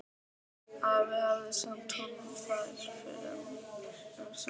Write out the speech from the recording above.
Afi hafði sent honum þær fyrr um sumarið.